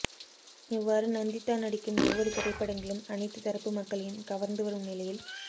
இவ்வாறு நந்திதா நடிக்கும் ஒவ்வொரு திரைப்படங்களும் அனைத்துத் தரப்பு மக்களையும் கவர்ந்து வரும் நிலையில்